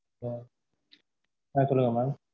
அஹ் அஹ் சொல்லுங்க mam